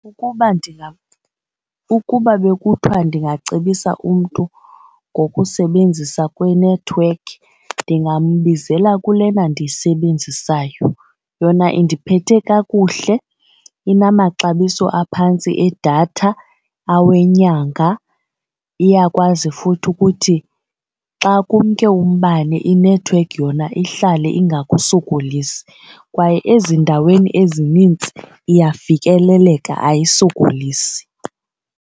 Ukuba ukuba bekuthiwa ndingacebisa umntu ngokusebenzisa kwenethiwekhi ndingambizela kulena ndiyisebenzisayo. Yona indiphethe kakuhle inamaxabiso aphantsi edatha awenyanga iyakwazi futhi ukuthi xa kumke umbane inethiwekhi yona ihlale ingakusokolisi kwaye ezindaweni ezinintsi iyafikeleleka ayisokolisi.